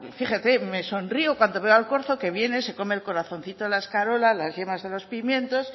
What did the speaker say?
fíjese me sonrió cuando veo al corzo que viene se come el corazoncito de la escarola las yemas de los pimientos